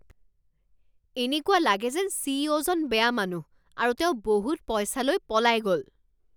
এনেকুৱা লাগে যেন চি ই অ' জন বেয়া মানুহ আৰু তেওঁ বহুত পইচা লৈ পলাই গ'ল